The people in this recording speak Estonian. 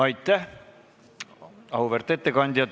Aitäh, auväärt ettekandja!